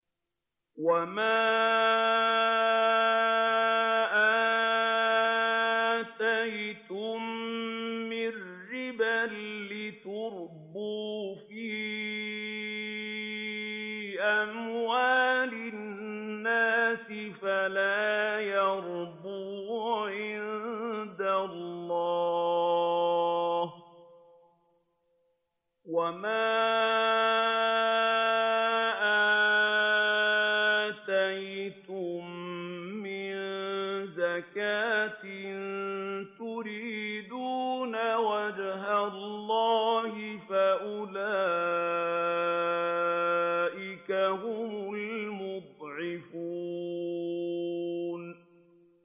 وَمَا آتَيْتُم مِّن رِّبًا لِّيَرْبُوَ فِي أَمْوَالِ النَّاسِ فَلَا يَرْبُو عِندَ اللَّهِ ۖ وَمَا آتَيْتُم مِّن زَكَاةٍ تُرِيدُونَ وَجْهَ اللَّهِ فَأُولَٰئِكَ هُمُ الْمُضْعِفُونَ